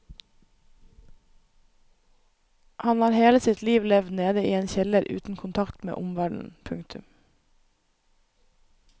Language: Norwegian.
Han har hele sitt liv levd nede i en kjeller uten kontakt med omverdenen. punktum